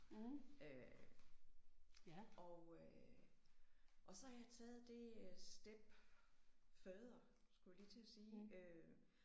Øh og øh og så har jeg taget det step further skulle jeg lige til at sige